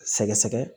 Sɛgɛsɛgɛ